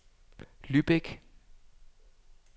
Lübeck